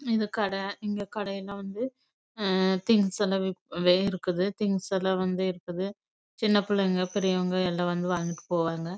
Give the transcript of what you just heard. இது கட திங்ஸ் லாம் இருக்குது சின்ன பிள்ளைங்க லாம் வந்து விஷயங்கள் வாங்கிடு போவாங்க